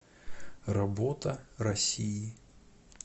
работа россии